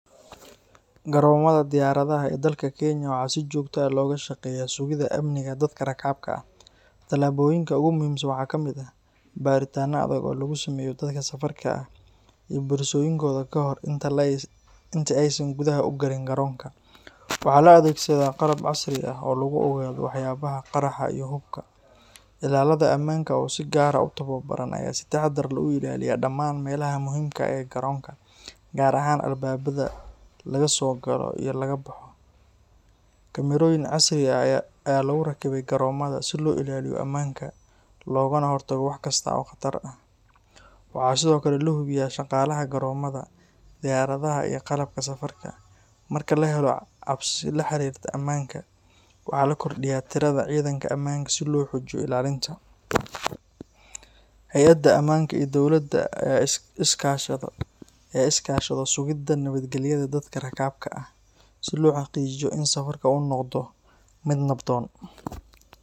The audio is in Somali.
Garoomada diyaaradaha ee dalka Kenya waxaa si joogto ah looga shaqeeyaa sugidda amniga dadka rakaabka ah. Tallaabooyinka ugu muhiimsan waxaa ka mid ah: baaritaanno adag oo lagu sameeyo dadka safarka ah iyo boorsooyinkooda ka hor inta aysan gudaha u galin garoonka. Waxaa la adeegsadaa qalab casri ah oo lagu ogaado waxyaabaha qarxa iyo hubka. Ilaalada ammaanka oo si gaar ah u tababaran ayaa si taxaddar leh u ilaaliya dhammaan meelaha muhiimka ah ee garoonka, gaar ahaan albaabbada laga soo galo iyo laga baxo. Kaamirooyin casri ah ayaa lagu rakibay garoomada si loo ilaaliyo ammaanka, loogana hortago wax kasta oo khatar ah. Waxaa sidoo kale la hubiyaa shaqaalaha garoomada, diyaaradaha iyo qalabka safarka. Marka la helo cabsi la xiriirta ammaanka, waxaa la kordhiyaa tirada ciidanka ammaanka si loo xoojiyo ilaalinta. Hay’adaha ammaanka ee dowladda ayaa iska kaashado sugidda nabadgelyada dadka rakaabka ah si loo xaqiijiyo in safarka uu noqdo mid nabdoon.